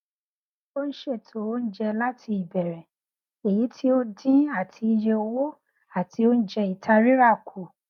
ó n ṣètò oúnjẹ láti ìbẹrẹ èyí tó dín àti iye owó àti oúnjẹ ìta rírà kù